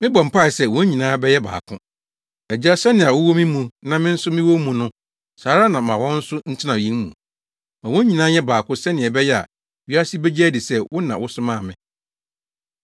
Mebɔ mpae sɛ wɔn nyinaa bɛyɛ baako. Agya, sɛnea wowɔ me mu na me nso mewɔ wo mu no, saa ara na ma wɔn nso ntena yɛn mu. Ma wɔn nyinaa nyɛ baako sɛnea ɛbɛyɛ a, wiase begye adi sɛ wo na wosomaa me.